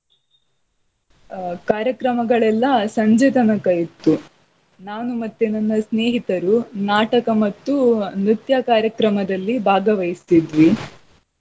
ಆಹ್ ಕಾರ್ಯಕ್ರಮಗಳೆಲ್ಲಾ ಸಂಜೆ ತನಕ ಇತ್ತು. ನಾನು ಮತ್ತೆ ನನ್ನ ಸ್ನೇಹಿತರು ನಾಟಕ ಮತ್ತು ನೃತ್ಯ ಕಾರ್ಯಕ್ರಮದಲ್ಲಿ ಭಾಗವಹಿಸ್ತಿದ್ವಿ.